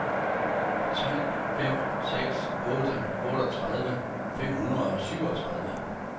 tre fem seks otte otteogtredive fem hundrede og syvogtredive